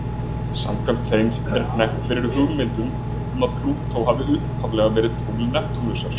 Samkvæmt þeim er hnekkt fyrri hugmyndum um að Plútó hafi upphaflega verið tungl Neptúnusar.